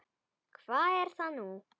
Hvað er það nú?